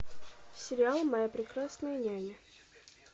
сериал моя прекрасная няня